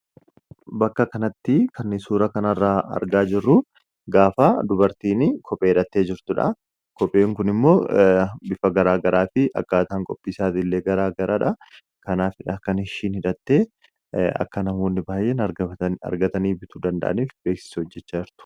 Bakka kanatti kan suura kanarraa argaa jirruu gaafaa dubartiini kophee hidhattee jirtuudha kopheen kun immoo bifa garaa garaa fi akkaataan qopiisaatiillee garaa garaadha kanaafi dha kan ishiin hidattee akka namoonni baay'een argatanii bituu danda'aniif beeksisa hojjechaa jirti